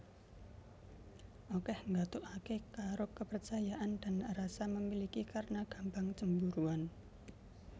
Okeh nggathukake karo kepercayaan dan rasa memiliki karena gampang cemburuan